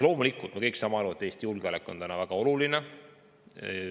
Loomulikult me kõik saame aru, et Eesti julgeolek on praegu väga oluline.